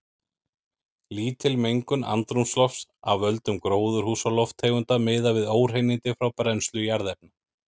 Lítil mengun andrúmslofts af völdum gróðurhúsalofttegunda miðað við óhreinindi frá brennslu jarðefna.